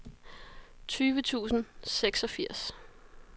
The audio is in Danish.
tyve tusind og seksogfirs